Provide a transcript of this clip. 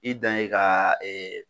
I dan ye ka